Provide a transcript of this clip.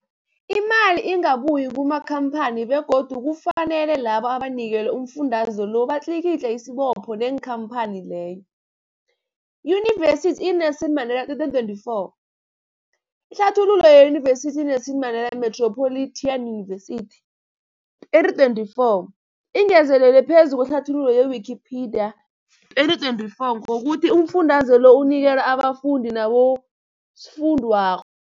Imali ingabuyi kumakhamphani begodu kufanele labo abanikelwa umfundaze lo batlikitliki isibopho neenkhamphani leyo, Yunivesity i-Nelson Mandela 2024. Ihlathululo yeYunivesithi i-Nelson Mandela Metropolitan University, 2024, ingezelele phezu kwehlathululo ye-Wikipedia, 2024, ngokuthi umfundaze lo unikelwa abafundi nabosofundwakgho.